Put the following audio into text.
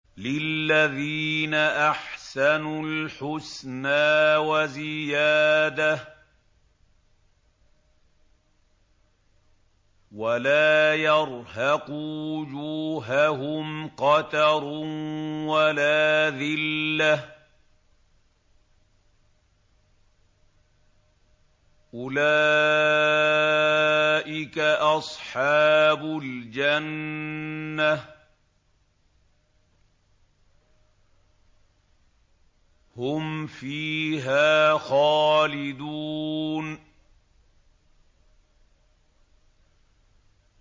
۞ لِّلَّذِينَ أَحْسَنُوا الْحُسْنَىٰ وَزِيَادَةٌ ۖ وَلَا يَرْهَقُ وُجُوهَهُمْ قَتَرٌ وَلَا ذِلَّةٌ ۚ أُولَٰئِكَ أَصْحَابُ الْجَنَّةِ ۖ هُمْ فِيهَا خَالِدُونَ